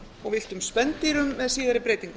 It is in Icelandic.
og villtum spendýrum með síðari breytingum